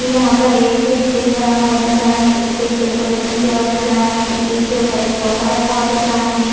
यहाँ पर एक स्टेज बना हुआ दिख रहा है स्टेज डेकोरेशन किया हुआ दिख रहा है स्टेज के ऊपर एक सोफा रखा हुआ दिख रहा है।